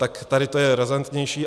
Tak tady to je razantnější.